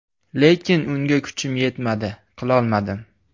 Lekin unga kuchim yetmadi, qilolmadim.